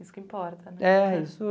Isso que importa né. É, isso...